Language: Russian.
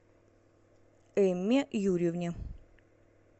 эмме юрьевне